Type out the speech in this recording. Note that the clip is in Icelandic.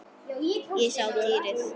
Ég sá dýrið.